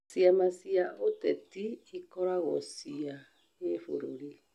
Ciama cia ũteti ikoragwo cia gĩbũrũri